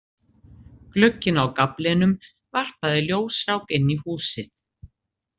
Glugginn á gaflinum varpaði ljósrák inn í húsið.